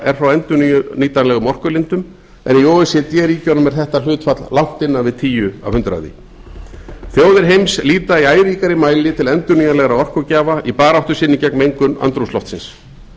er frá endurnýtanlegum orkulindum en í o e c d ríkjunum er þetta hlutfall langt innan við tíu prósent þjóðir heims líta í æ ríkari mæli til endurnýjanlegra orkugjafa í baráttu sinni gegn mengun andrúmsloftsins